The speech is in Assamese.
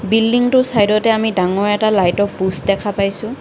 বিল্ডিংটোৰ চাইডতে আমি ডাঙৰ এটা লাইটৰ পোষ্ট দেখা পাইছোঁ।